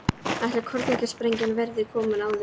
Ætli kjarnorkusprengjan verði ekki komin áður.